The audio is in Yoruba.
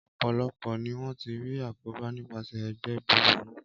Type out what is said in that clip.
Ọpọ̀lọpò ní wọ́n ti rí àkóbá nipaṣẹ̀ ẹgbẹ́ búburu